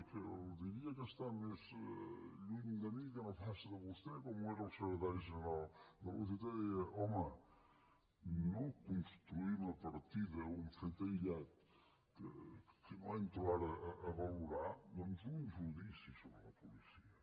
i que diria que està més lluny de mi que no pas de vostè com ho era el secretari general de la ugt deia home no construïm a partir d’un fet aïllat que no entro ara a valorar doncs un judici sobre la policia